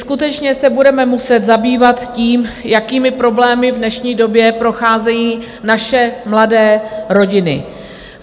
Skutečně se budeme muset zabývat tím, jakými problémy v dnešní době procházejí naše mladé rodiny.